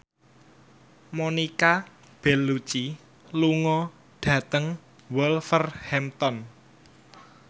Monica Belluci lunga dhateng Wolverhampton